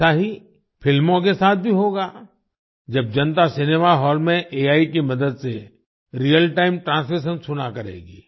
ऐसा ही फिल्मों के साथ भी होगा जब जनता सिनेमा हॉल में एआई की मदद से रियल टाइम ट्रांसलेशन सुना करेगी